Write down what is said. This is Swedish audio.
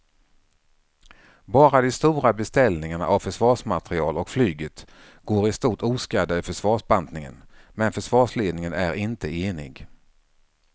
Bara de stora beställningarna av försvarsmateriel och flyget går i stort oskadda ur försvarsbantningen men försvarsledningen är inte enig.